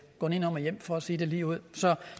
gå nedenom og hjem for at sige det ligeud så